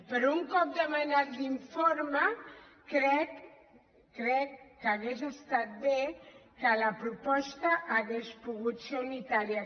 però un cop demanat l’informe crec crec que hauria estat bé que la proposta fos unitària